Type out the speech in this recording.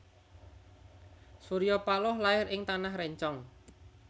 Surya Paloh lair ing Tanah Rencong